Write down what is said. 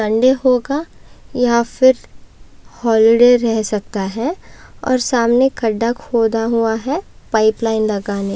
Sunday होगा या फिर हॉलिडे रह सकता है और सामने खड्डा खोदा हुआ है पाइप लाइन लगाने --